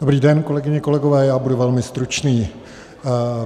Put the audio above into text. Dobrý den, kolegyně, kolegové, já budu velmi stručný.